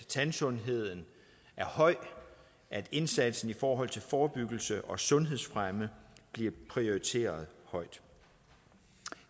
tandsundheden er høj at indsatsen for forebyggelse og sundhedsfremme bliver prioriteret højt